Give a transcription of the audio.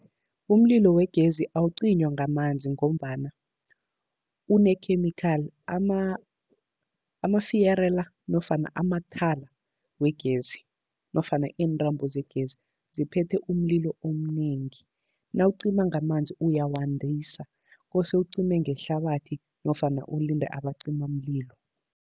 Umlilo wegezi awucinywa ngamanzi, ngombana unekhemikhali, amafiyere la nofana amathala wegezi nofana iintambo zegezi ziphethe umlilo omnengi. Nawucima ngamanzi uyawandisa kose ucime ngehlabathi nofana ulinde abacimamlilo.